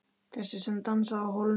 Þessi sem dansaði á hólnum.